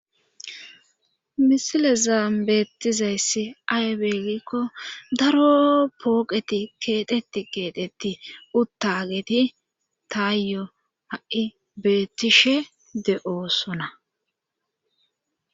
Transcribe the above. Misilezan beetizayssi aybe giiko daro pooqeti keexxeti keexeti uttageti taayo ha'i beetishe de'osona.